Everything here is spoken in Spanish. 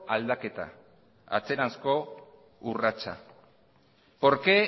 aldaketa atzeranzko urratsa por qué